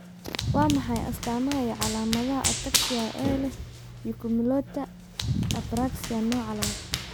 Waa maxay astaamaha iyo calaamadaha Ataxia ee leh Oculomotor Apraxia Nooca labaad?